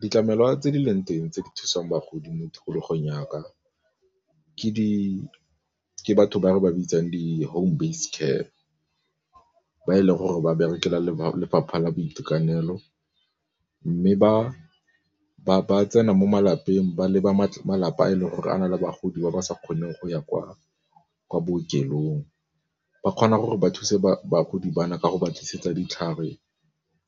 Ditlamelwa tse di leng teng tse di thusang bagodi mo tikologong ya ka ke batho ba re ba bitsang di home base care, ba e leng gore ba berekela lefapha la boitekanelo, mme ba tsena mo malapeng ba leba malapa a e leng gore a na le bagodi ba ba sa kgoneng go ya kwa bookelong. Ba kgona gore ba thuse bagodi ba na ka go ba tlisetsa ditlhare